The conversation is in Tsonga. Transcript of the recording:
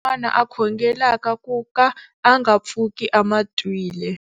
Un'wana na un'wana a khongelaka ku ka a nga pfuki a ma twile.